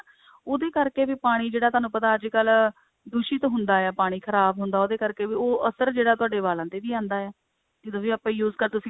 ਉਹਦੇ ਕਰਕੇ ਵੀ ਪਾਣੀ ਜਿਹੜਾ ਤੁਹਾਨੂੰ ਪਤਾ ਅੱਜਕਲ ਦੂਸ਼ਿਤ ਹੁੰਦਾ ਆ ਪਾਣੀ ਖ਼ਰਾਬ ਹੁੰਦਾ ਹੈ ਉਹਦੇ ਕਰਕੇ ਉਹ ਅਸਰ ਜਿਹੜਾ ਤੁਹਾਡੇ ਵਾਲਾਂ ਤੇ ਵੀ ਆਂਦਾ ਆ ਜਦੋਂ ਵੀ ਆਪਾਂ use ਕਰਦੇ